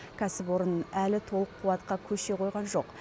кәсіпорын әлі толық қуатқа көше қойған жоқ